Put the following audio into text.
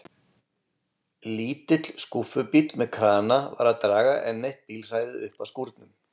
Lítill skúffubíll með krana var að draga enn eitt bílhræið uppað skúrnum.